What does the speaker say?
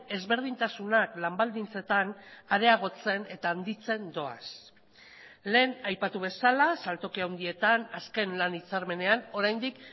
ezberdintasunak lan baldintzetan areagotzen eta handitzen doaz lehen aipatu bezala saltoki handietan azken lan hitzarmenean oraindik